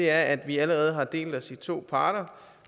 er at vi allerede har delt os i to parter